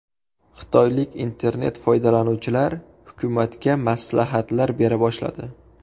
Xitoylik internet-foydalanuvchilar hukumatga maslahatlar bera boshladi.